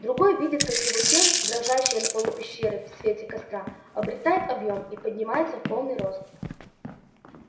другой видит как его тень дрожащая на полу пещеры в свете костра обретает объём и поднимается в полный рост